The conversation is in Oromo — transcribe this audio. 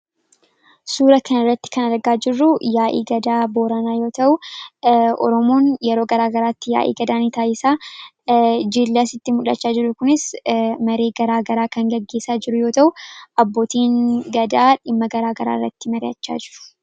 suura kan irratti kan argaa jirru yaa'ii gadaa booranaa yoo ta'u, oromoon yeroo garaagaraatti yaa'ii garaagaraa ni taasisa. Jiilli asitti muldhachaa jiru kunis maree garaa garaa kan gaggeessaa jiru yoo ta'u ,abbootiin gadaa dhimma garaa garaa irratti mari'achaa jiru.